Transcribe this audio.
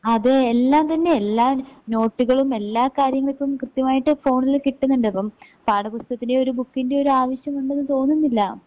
അതെ എല്ലാം തന്നെ എല്ലാന് നോട്ടുകളും എല്ലാ കാര്യങ്ങൾക്കും കൃത്യമായിട്ട് ഫോണില് കിട്ടിന്നിണ്ട് പ്പം പാഠപുസ്തകത്തിലെ ഒരു ബുക്കിൻ്റെയൊരാവശ്യമുണ്ടെന്ന് തോന്നുന്നില്ല.